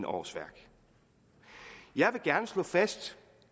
årsværk jeg vil gerne slå fast